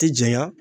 Ti janya